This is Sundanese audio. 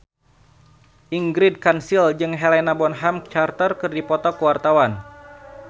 Ingrid Kansil jeung Helena Bonham Carter keur dipoto ku wartawan